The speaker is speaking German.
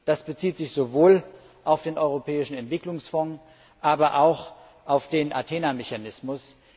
Das bezieht sich sowohl auf den Europäischen Entwicklungsfonds als auch auf den Athena Mechanismus.